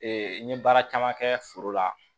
n ye baara caman kɛ foro la